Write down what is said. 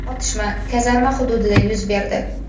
Otishma kazarma hududida yuz berdi.